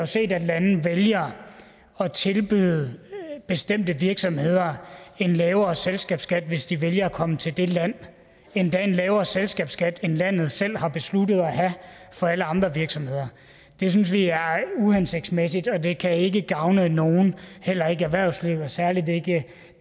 set at lande vælger at tilbyde bestemte virksomheder en lavere selskabsskat hvis de vælger at komme til det land endda en lavere selskabsskat end landet selv har besluttet at have for alle andre virksomheder det synes vi er uhensigtsmæssigt og det kan ikke gavne nogen heller ikke erhvervslivet og særlig ikke